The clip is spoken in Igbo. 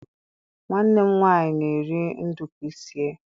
nwanne m nwanyi na-eri nduku sie.